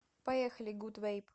поехали гуд вэйп